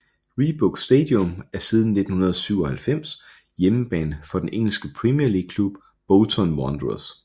Reebok Stadium er siden 1997 hjemmebane for den engelske Premier League klub Bolton Wanderers